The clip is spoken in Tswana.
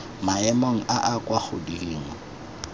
maemong a a kwa godimo